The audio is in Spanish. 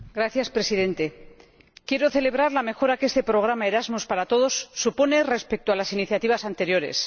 Señor Presidente, quiero celebrar la mejora que este Programa Erasmus para todos supone respecto a las iniciativas anteriores.